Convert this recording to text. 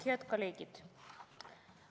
Head kolleegid!